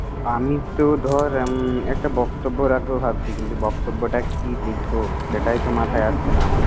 আমি তো ধর উম একটা বক্তব্য রাখবো ভাবছি কিন্তু, বক্তব্যটা কি লিখব! সেটাই তো মাথায় আসছে না আমার।